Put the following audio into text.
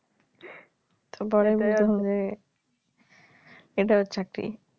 পরে এটা ওর চাকরি